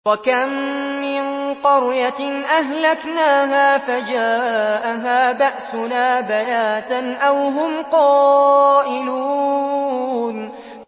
وَكَم مِّن قَرْيَةٍ أَهْلَكْنَاهَا فَجَاءَهَا بَأْسُنَا بَيَاتًا أَوْ هُمْ قَائِلُونَ